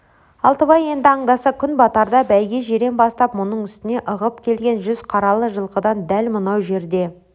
алтыбай енді аңдаса күн батарда бәйге жирен бастап мұның үстіне ығып келген жүз қаралы жылқыдан дәл мынау жерде